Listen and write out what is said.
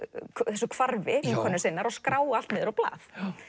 þessu hvarfi vinkonu sinnar og skrá allt niður á blað